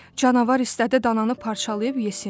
Canavar istədi dananı parçalayıb yesin.